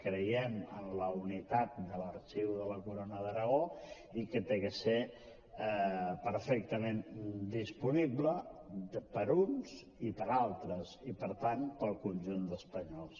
creiem en la unitat de l’arxiu de la corona d’aragó i que ha de ser perfectament disponible per a uns i per a altres i per tant per al conjunt d’espanyols